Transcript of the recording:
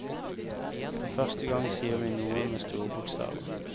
For første gang sier vi noe med store bokstaver.